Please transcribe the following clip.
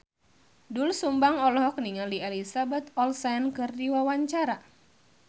Doel Sumbang olohok ningali Elizabeth Olsen keur diwawancara